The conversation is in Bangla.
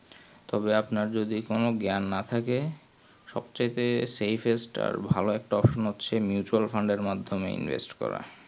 তবে আপনার যদি কোনো জ্ঞান না থেকে সব থেকে সেই phase তার ভালো একটা option হচ্ছে mutual fund এর মাদ্ধমে invest করা